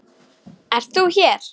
Ert þú hér!